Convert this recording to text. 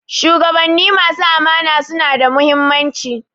Shugabanni masu amana suna da muhimmanci